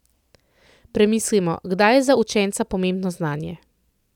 Premislimo, kdaj je za učenca pomembno znanje?